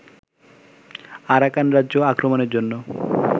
Arakan রাজ্য আক্রমণের জন্য